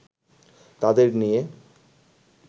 তাদের নিয়ে